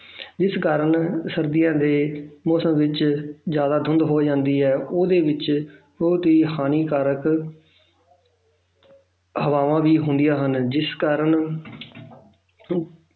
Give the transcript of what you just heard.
ਜਿਸ ਕਾਰਨ ਸਰਦੀਆਂ ਦੇ ਮੌਸਮ ਵਿੱਚ ਜ਼ਿਆਦਾ ਧੁੰਦ ਹੋ ਜਾਂਦੀ ਹੈ ਉਹਦੇ ਵਿੱਚ ਬਹੁਤ ਹੀ ਹਾਨੀਕਾਰਕ ਹਵਾਵਾਂ ਵੀ ਹੁੰਦੀਆਂ ਹਨ ਜਿਸ ਕਾਰਨ